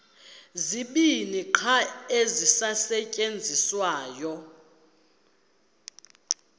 zibini qha ezisasetyenziswayo